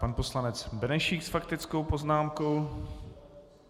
Pan poslanec Benešík s faktickou poznámkou.